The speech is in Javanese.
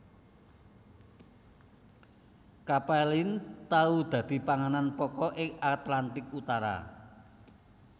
Capelin tau dadi panganan pokok ing Atlantik Utara